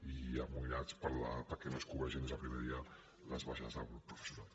i amoïnats perquè no es cobreixin des del primer dia les baixes del professorat